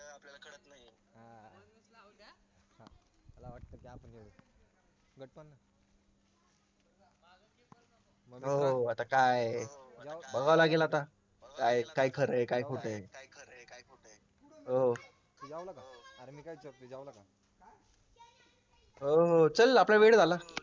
हो हो आता काय बघावं लागेल आता काय काय खरं आहे काय खोटं आहे हो, हो हो चल आपला वेळ झाला